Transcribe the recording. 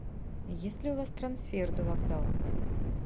есть ли у вас трансфер до вокзала